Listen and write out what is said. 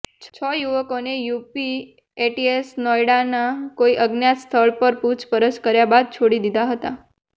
છ યુવકોને યુપી એટીએસે નોઈડાના કોઈ અજ્ઞાત સ્થળ પર પૂછપરછ કર્યા બાદ છોડી દીધા હતા